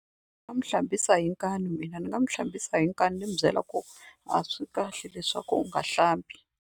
Ndzi nga n'wi hlambisa hi nkani mina ni nga n'wi hlambisa hi nkani ni n'wi byela ku a swi kahle leswaku u nga hlambi.